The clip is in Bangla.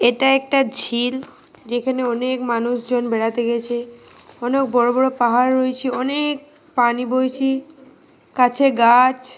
এটা একটা ঝিল যেখানে অনেক মানুষজন বেড়াতে গেছে। অনেক বড় বড় পাহাড় রয়েছে। অনেক পানি বইছে। কাছে গাছ।